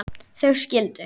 Þau skildu.